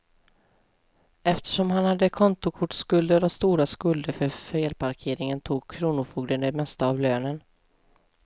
Eftersom han hade kontokortsskulder och stora skulder för felparkeringar tog kronofogden det mesta av lönen.